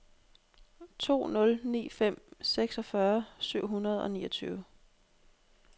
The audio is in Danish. to nul ni fem seksogfyrre syv hundrede og niogtyve